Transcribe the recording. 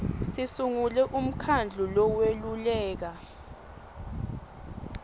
sisungule umkhandlu loweluleka